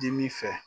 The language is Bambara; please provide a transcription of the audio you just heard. Dimi fɛ